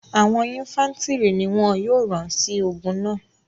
àwọn infàntiri ni wọn yóò ran si ogun náa